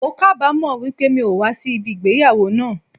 Mo kábamo wípé mi o wa sí ìgbéyàwó náà àn